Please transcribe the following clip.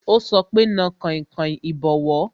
Ó sọ pé "Na kainkain ìbọwọ́"